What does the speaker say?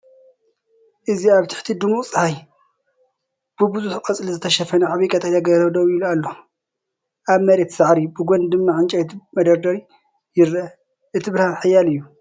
እዚ ኣብ ትሕቲ ድሙቕ ጸሓይ፡ ብብዙሕ ቆጽሊ ዝተሸፈነ ዓቢ ቀጠልያ ገረብ ደው ኢሉ ኣሎ። ኣብ መሬት ሳዕሪ፡ ብጎኒ ድማ ዕንጨይቲ መደርደሪ ይርአ። እቲ ብርሃን ሓያል እዩ።